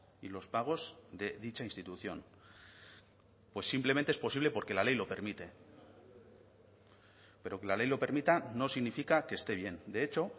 y los pagos de dicha institución pues simplemente es posible porque la ley lo permite pero que la ley lo permita no significa que esté bien de hecho